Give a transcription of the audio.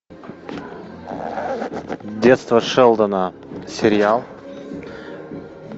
детство шелдона сериал